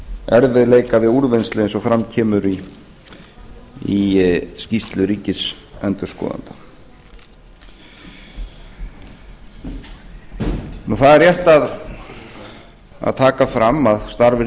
erfiðleika við úrvinnslu eins og fram kemur í skýrslu ríkisendurskoðunar það er rétt að taka fram að starf